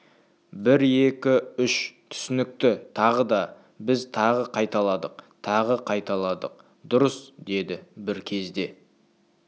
бір екі үш түсінікті тағы да біз тағы қайталадық тағы қайталадық дұрыс деді бір кезде